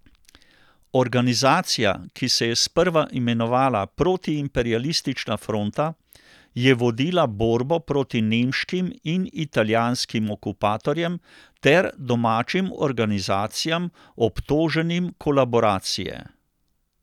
Organizacija, ki se je sprva imenovala Protiimperialistična fronta, je vodila borbo proti nemškim in italijanskim okupatorjem ter domačim organizacijam, obtoženim kolaboracije.